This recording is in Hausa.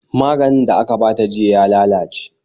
Maganin da aka bata jiya ya lalace